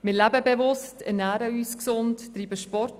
Wir leben bewusst, ernähren uns gesund und treiben Sport.